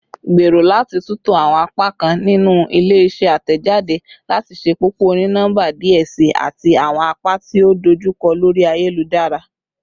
Gbero lati tunto awọn apakan ninu ile-iṣẹ atẹjade lati ṣepọpọ oni-nọmba diẹ sii ati awọn apa ti o dojukọ lori ayelujara